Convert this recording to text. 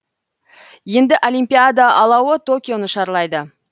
енді олимпиада алауы токионы шарлайды